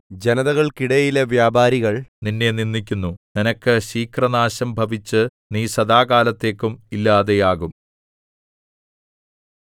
ജനതകൾക്കിടയിലെ വ്യാപാരികൾ നിന്നെ നിന്ദിക്കുന്നു നിനക്ക് ശീഘ്രനാശം ഭവിച്ചു നീ സദാകാലത്തേക്കും ഇല്ലാതെയാകും